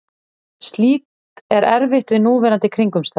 Slíkt er erfitt við núverandi kringumstæður.